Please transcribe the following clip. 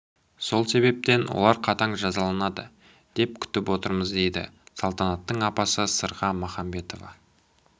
сол себептен олар қатаң жазаланады деп күтіп отырмыздейді салтанаттың апасы сырға махамбетова